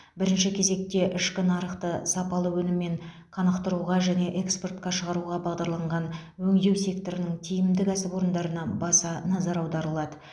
бірінші кезекте ішкі нарықты сапалы өніммен қанықтыруға және экспортқа шығуға бағдарланған өңдеу секторының тиімді кәсіпорындарына баса назар аударылады